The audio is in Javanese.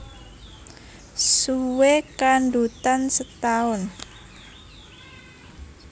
Suwé kandhutan setaun